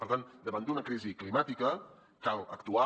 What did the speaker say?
per tant davant d’una crisi climàtica cal actuar